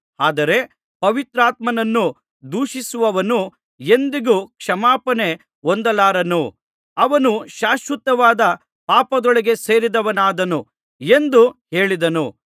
ಆದರೆ ಪವಿತ್ರಾತ್ಮನನ್ನು ದೂಷಿಸಿದವನು ಎಂದಿಗೂ ಕ್ಷಮಾಪಣೆ ಹೊಂದಲಾರನು ಅವನು ಶಾಶ್ವತವಾದ ಪಾಪದೊಳಗೆ ಸೇರಿದವನಾದನು ಎಂದು ಹೇಳಿದನು